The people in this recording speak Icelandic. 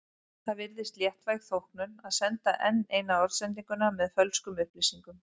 Það virðist léttvæg þóknun að senda enn eina orðsendinguna með fölskum upplýsingum.